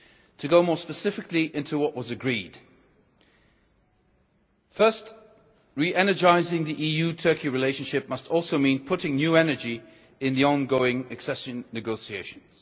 To go more specifically into what was agreed firstly, re energising the EU Turkey relationship must also mean putting new energy into the ongoing accession negotiations.